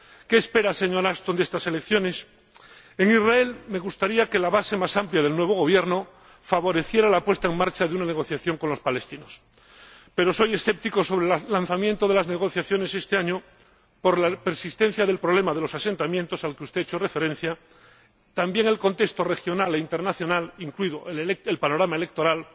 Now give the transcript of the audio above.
¿Qué espera, señora Ashton, de estas elecciones? En Israel me gustaría que la base más amplia del nuevo gobierno favoreciera la puesta en marcha de una negociación con los palestinos, pero soy escéptico sobre el lanzamiento de las negociaciones este año por la persistencia del problema de los asentamientos, al que usted ha hecho referencia ―también al contexto regional e internacional, incluido el panorama electoral